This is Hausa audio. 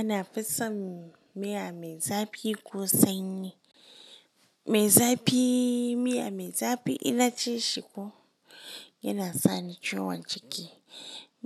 Ana fi son miya mai zafi ko sanyi. Mai zafi, miya mai zafi in na ci shi ko yana sa ni ciwon ciki.